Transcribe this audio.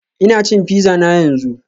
Ina cin pizza na yanzu